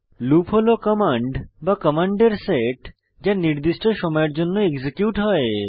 loop হল command বা কমান্ডের সেট যা নির্দিষ্ট সময়ের জন্য এক্সিকিউট হয়